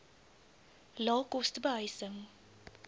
lae koste behuising